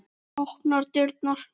Opnar dyrnar.